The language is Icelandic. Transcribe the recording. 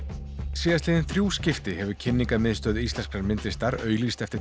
síðastliðin þrjú skipti hefur Kynningarmiðstöð íslenskrar myndlistar auglýst eftir